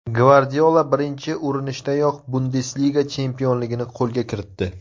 Gvardiola birinchi urinishdayoq Bundesliga chempionligini qo‘lga kiritdi.